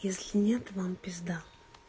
если нет вам пизда